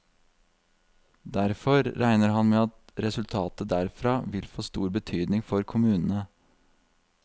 Derfor regner han med at resultatet derfra vil få stor betydning for kommunene.